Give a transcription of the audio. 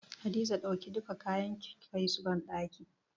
Hadiza dauki duka kayan ki kai su banɗakin.